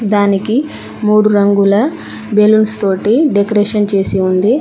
దానికి మూడు రంగుల బెలూన్స్ తోటి డెకరేషన్ చేసి ఉంది.